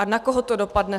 A na koho to dopadne?